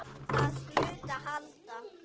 Það hlaut að halda.